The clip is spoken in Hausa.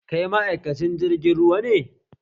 Kai ma'aikacin jirgin ruwa ne?